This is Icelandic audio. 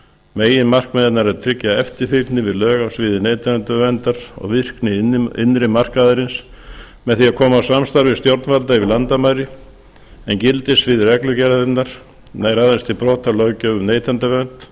meginmarkmið hennar er að tryggja eftirfylgni við lög á sviði neytendaverndar og virkni innri markaðarins með því að koma á samstarfi stjórnvalda yfir landamæri en gildissvið reglugerðarinnar nær aðeins til brota á löggjöf um neytendavernd